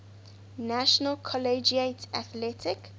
national collegiate athletic